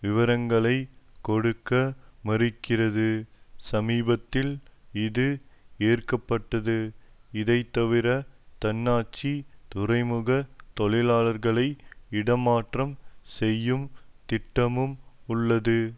விவரங்களை கொடுக்க மறுக்கிறது சமீபத்தில் இது ஏற்க பட்டது இதைத்தவிர தன்னாட்சி துறைமுக தொழிலாளர்களை இடமாற்றம் செய்யும் திட்டமும் உள்ளது